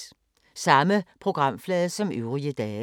Samme programflade som øvrige dage